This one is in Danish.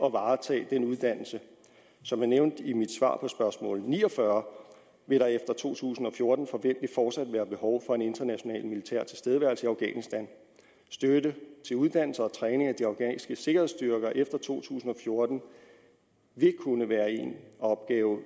at varetage den uddannelse som jeg nævnte i mit svar på spørgsmål ni og fyrre vil der efter to tusind og fjorten forventelig fortsat være behov for en international militær tilstedeværelse i afghanistan støtte til uddannelse og træning af de afghanske sikkerhedsstyrker efter to tusind og fjorten vil kunne være en opgave